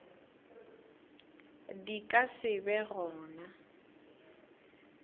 di ka se be gona